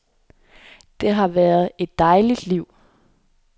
Det har været et dejligt liv.